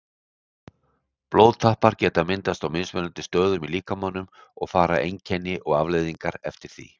Blóðtappar geta myndast á mismunandi stöðum í líkamanum og fara einkenni og afleiðingar eftir því.